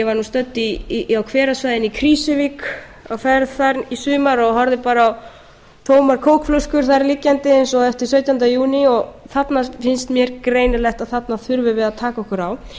út af utanvegaakstri ég var stödd á hverasvæðinu í krýsuvík á hverasvæðinu í sumar og horfði bara á tómar kókflöskur þar liggjandi eins og eftir sautjánda júní þarna finnst mér greinilegt að þarna þurfum við að taka okkur